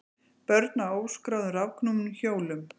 Börn á óskráðum rafknúnum hjólum